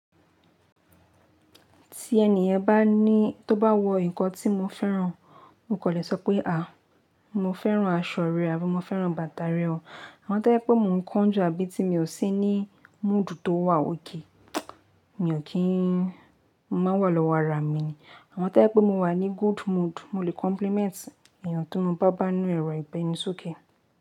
Tí ẹniyan bá ní, tó bá wọ ǹkan tí mo fẹ́ràn, mo kò lè sọ pé à, mo fẹ́ràn aṣọ rẹ àbi mo fẹ́ràn bàtà rẹ o. Àmo tó bá jepé mò ń kánjú àbí ti mi ò sí ní mood tó wà okay, mi ò kí n, mo má n wà lọ́wọ́ ara mi ni. Àwọn tó ẹ pé mo wà ní good mood, mo lè compliment ènìyàn tí mo bá bá inú ẹrọ ìbẹni sókè.